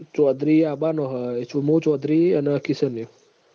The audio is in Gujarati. ચૌધરી આબબાબો હ મું ચૌધરી અન કિશનયો